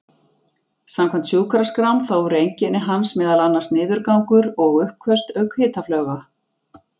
Samkvæmt sjúkraskrám þá voru einkenni hans meðal annars niðurgangur og uppköst auk hitafloga.